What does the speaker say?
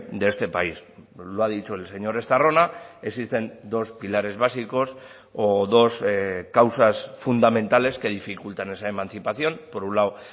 de este país lo ha dicho el señor estarrona existen dos pilares básicos o dos causas fundamentales que dificultan esa emancipación por un lado